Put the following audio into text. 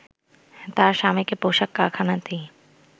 তার স্বামীকে পোশাক কারখানাতেই